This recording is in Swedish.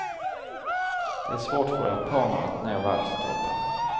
Det är svårt för japaner att nå världstoppen.